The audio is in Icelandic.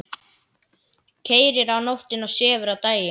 Keyrir á nóttunni og sefur á daginn.